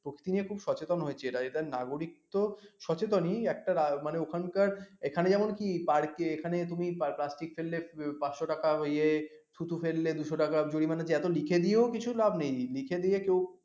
প্রকৃতি নিয়ে খুব সচেতন হয়েছে এরা এটা নাগরিকত্ব সচেতনই একটা ওখানকার এখানে যেমন কি পার্কে এখানে তুমি plastic ফেললে পাঁচশ টাকা ইয়ে থুতু ফেললে দুইশ টাকা জরিমানা এত লিখে দিয়েও কিছু লাভ নেই লিখে দিয়ে কেউ